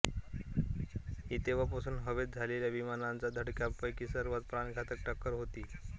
ही तेव्हापर्यंत हवेत झालेल्या विमानांच्या धडकांपैकी सर्वात प्राणघातक टक्कर होती